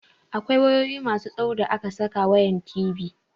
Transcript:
Akwai wayoyi masu tsawo da ake saka wayan TV.